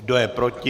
Kdo je proti?